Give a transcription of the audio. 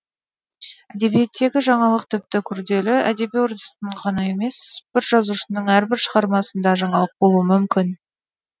әдебиеттегі жаңалық тіпті күрделі әдеби үрдістің қана емес бір жазушының әрбір шығармасында жаңалық болуы мүмкін